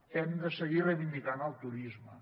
hem de seguir reivindicant el turisme